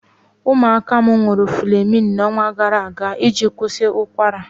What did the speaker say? Ụmụaka m ṅụrụ Flemin ọnwa gara aga iji kwụsị ụkwara.